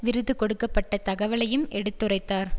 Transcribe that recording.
விருது கொடுக்க பட்ட தகவலையும் எடுத்துரைத்தார்